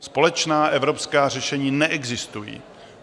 Společná evropská řešení neexistují.